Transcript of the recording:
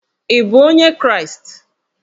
Ị bụ onye Kraịst?